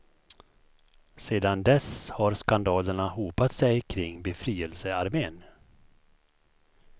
Sedan dess har skandalerna hopat sig kring befrielsearmén.